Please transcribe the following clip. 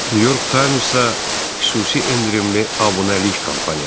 New York Times-a xüsusi endirimli abunəlik kampaniyası.